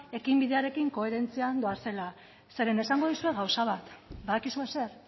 ekinbidearekin koherentzian doazela zeren esango dizuet gauza bat badakizue zer